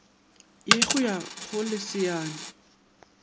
ye go ya go leasana